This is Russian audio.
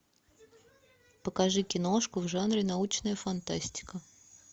покажи киношку в жанре научная фантастика